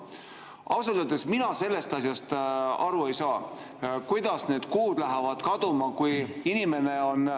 " Ausalt öeldes mina sellest asjast aru ei saa, kuidas need kuud lähevad kaduma.